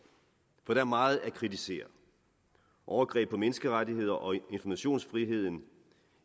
for der er meget at kritisere overgreb på menneskerettigheder og informationsfrihed